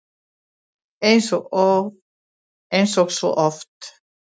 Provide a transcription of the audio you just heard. Eins og svo oft!